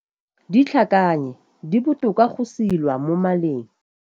Ditlhakannye di botoka go silwa mo maleng.